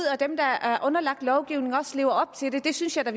at dem der er underlagt lovgivningen også lever op til den det synes jeg da